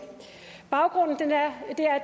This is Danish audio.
baggrunden